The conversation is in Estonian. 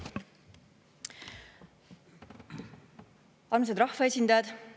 Armsad rahvaesindajad!